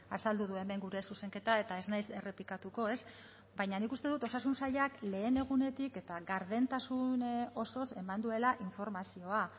azaldu du hemen gure zuzenketa eta ez naiz errepikatuko ez baina nik uste dut osasun sailak lehen egunetik eta gardentasun osoz eman duela informazioa